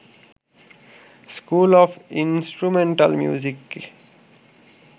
school of instrumental মিউজিকে